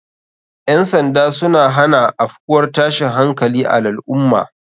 Ƴan sanda suna hana afkuwar tashin hankali a lal ummah